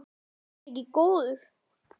Var hann ekki góður?